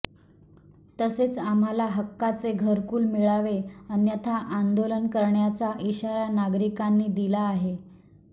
तसेच आम्हाला हक्काचे घरकुल मिळावे अन्यथा आंदोलन करण्याचा इशारा नागरिकांनी दिला आहे